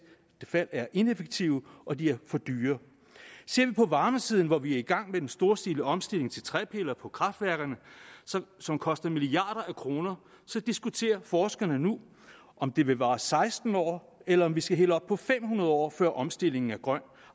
fald er ineffektive og de er for dyre ser vi på varmesiden hvor vi er i gang med en storstilet omstilling til træpiller på kraftværkerne som som koster milliarder af kroner diskuterer forskerne nu om det vil vare seksten år eller om vi skal helt op på fem hundrede år før omstillingen er grøn